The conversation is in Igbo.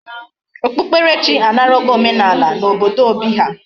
Okpukpere chi anarago omenala na obodo Obi ha